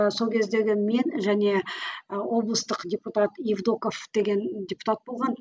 ыыы сол кездегі мен және ы облыстық депутат евдоков деген депутат болған